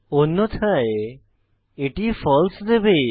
অন্যথায় এটি ফালসে দেবে